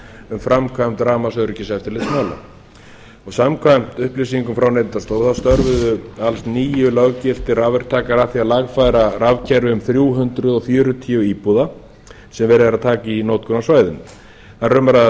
um framkvæmd rafmagnsöryggiseftirlitsmála samkvæmt upplýsingum frá neytendastofu störfuðu alls níu löggiltir rafverktakar að því að lagfæra rafkerfið um þrjú hundruð fjörutíu íbúða sem verið er að taka í notkun á svæðinu þar